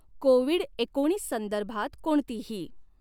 Covid एकोणीस संदर्भात कोणतीही।